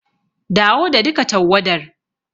Dawo da duka tawwadar.